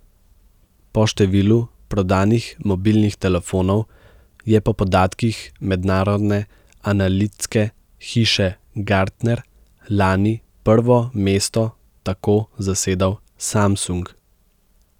Po številu prodanih mobilnih telefonov je po podatkih mednarodne analitske hiše Gartner lani prvo mesto tako zasedal Samsung.